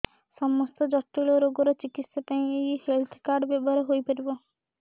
ସମସ୍ତ ଜଟିଳ ରୋଗର ଚିକିତ୍ସା ପାଇଁ ଏହି ହେଲ୍ଥ କାର୍ଡ ବ୍ୟବହାର ହୋଇପାରିବ